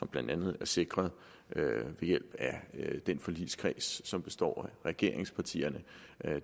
blandt andet er sikret ved hjælp af den forligskreds som består af regeringspartierne